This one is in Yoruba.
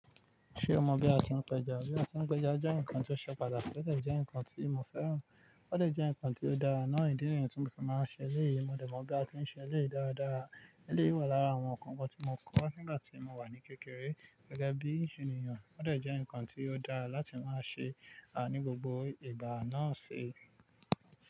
Ṣé o mọ̀ bí a ti ń péja? Bí a ti ń péja jẹ́ ǹnkan tí ó ṣe pàtàkì, ó dè jẹ́ ǹnkan tí mo fẹ́ràn, ó dè jẹ́ ǹnkan tí ó dára náà. Ìdí nìyẹn tí mo fi máa ń ṣe eléyìí, mo dẹ̀ mọ̀ bí a ti ń ṣe eléyìí dáadáa. Eléyìí wà lára àwọn ǹnkan kan tí mo kọ́ nígbà tí mo wà ní kékeré gẹ́gẹ́ bí ènìyàn, ó dè jẹ́ ǹnkan tí ó dára láti máa ṣe ní gbogbo ìgbà náà ṣi.